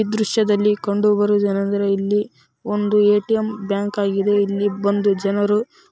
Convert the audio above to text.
ಈ ದೃಶ್ಯದಲ್ಲಿ ಕಂಡು ಬರುವುದು ಏನೆಂದರೆ ಇಲ್ಲಿ ಒಂದು ಎ.ಟಿ.ಎಂ ಬ್ಯಾಂಕ್‌ ಆಗಿದೆ ಇಲ್ಲಿ ಬಂದು ಜನರು-- .